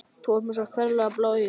Þú ert með svo ferlega blá augu.